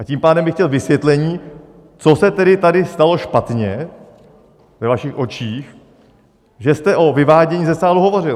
A tím pádem bych chtěl vysvětlení, co se tedy tady stalo špatně ve vašich očích, že jste o vyvádění ze sálu hovořil.